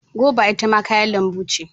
Goba ita ma kayan lambu ce.